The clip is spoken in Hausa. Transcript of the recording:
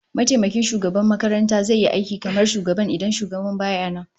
Mataimakin shugaban makaranta zai yi aiki kamar shugaban idan shugaban baya nan